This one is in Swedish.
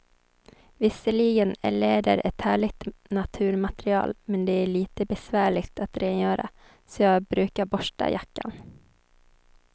Visserligen är läder ett härligt naturmaterial, men det är lite besvärligt att rengöra, så jag brukar borsta jackan.